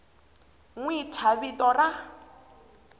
n wi thya vito ra